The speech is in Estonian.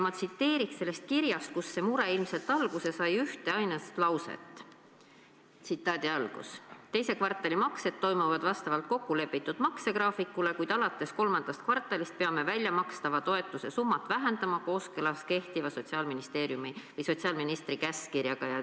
Ma toon sellest kirjast üheainsa lause, et teise kvartali maksed toimuvad vastavalt kokkulepitud maksegraafikule, kuid alates kolmandast kvartalist peavad nad väljamakstava toetuse summat vähendama kooskõlas kehtiva sotsiaalministri käskkirjaga.